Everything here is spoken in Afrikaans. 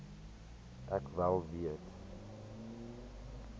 ek wel weet